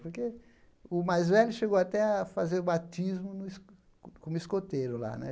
Porque o mais velho chegou até a fazer o batismo no como escoteiro lá né.